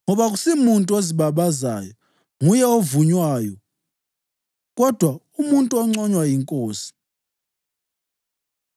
Ngoba akusimuntu ozibabazayo onguye ovunywayo, kodwa umuntu onconywa yiNkosi.